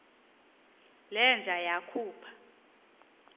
le nja yakhupha